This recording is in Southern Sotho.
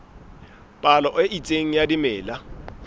palo e itseng ya dimela